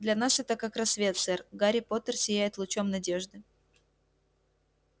для нас это как рассвет сэр гарри поттер сияет лучом надежды